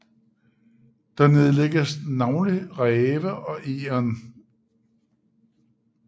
Der nedlægges navnlig ræve og egern